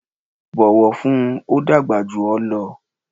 bọ̀wọ̀ fún un! ó dàgbà jù ọ lọ.